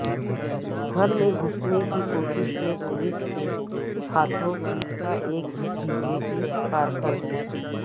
گھر میں گھسنے کی کوشش میں پولس کے ہاتھوں پٹتا ایک بی جے پی کارکن